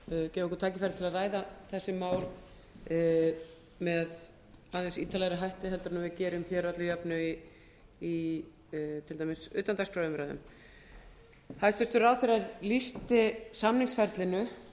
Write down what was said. gefa okkur tækifæri til að ræða þessi mál með aðeins ítarlegri hætti heldur en svið gerum að öllu jöfnu í til dæmis utandagskrárumræðum hæstvirtur ráðherra lýsti samningsferlinu